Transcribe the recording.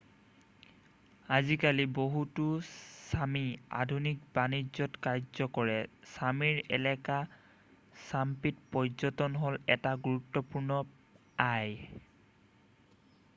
আজিকালি বহুতো ছামি আধুনিক বাণিজ্যত কাৰ্য কৰে ছামিৰ এলেকা ছাম্পিত পৰ্যটন হ'ল এটা গুৰুত্বপূৰ্ণ আয়